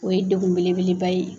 O ye degun belebeleba ye